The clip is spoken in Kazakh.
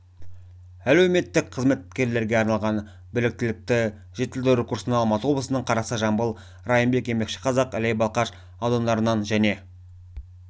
әлеуметтік қызметкерлерге арналған біліктілікті жетілдіру курсына алматы облысының қарасай жамбыл райымбек еңбекшіқазақ іле балқаш аудандарынан және